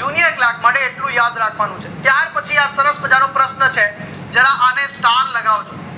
junior clerk માટે એટલું યાદ રાખવાનું છે ત્યાર પછી આ સરસ મજા નો પ્રશન છે જરા અને star લગાવજો